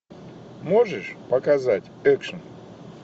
можешь показать экшн